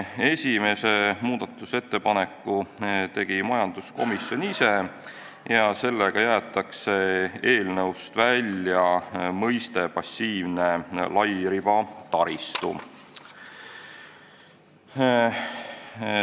Esimese muudatusettepaneku tegi majanduskomisjon ise ja sellega jäetakse eelnõust välja mõiste "passiivne lairibataristu".